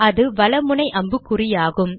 அது வல முனை அம்புக்குறியாகும்